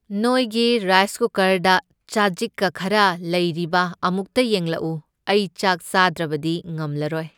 ꯅꯣꯏꯒꯤ ꯔꯥꯏꯁ ꯀꯨꯀꯔꯗ ꯆꯖꯤꯛꯀ ꯈꯔ ꯂꯩꯔꯤꯕ ꯑꯃꯨꯛꯇ ꯌꯦꯡꯂꯛꯎ꯫ ꯑꯩ ꯆꯥꯛ ꯆꯥꯗ꯭ꯔꯕꯗꯤ ꯉꯝꯂꯔꯣꯏ꯫